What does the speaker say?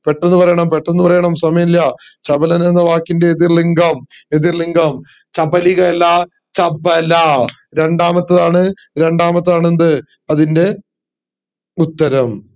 പെട്ടന്ന് പറയണം പെട്ടന്ന് പറയണം സമയമില്ല ചപലൻ എന്ന വാക്കിന്റെ എതിർ ലിംഗം ചപലിക അല്ല ചപല രണ്ടാമത്തതാണ് രണ്ടാമത്തതാണ് എന്ത് അതിൻറെ ഉത്തരം